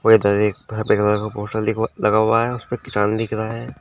और उधर एक कलर का पोस्टर दिख लगा हुआ है उस पे किसान लिखा रहा है।